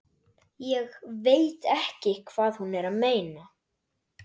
Ég veit ekki hvað hún er að meina.